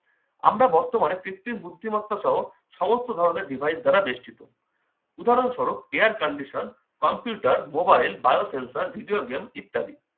আমরা বর্তমানে কৃত্রিম বুদ্ধিমত্তা সহ সমস্ত ধরনের device দ্বারা বেষ্টিত। উদাহরণস্বরূপ- air codition computer mobile bio sensor video game ইত্যাদি।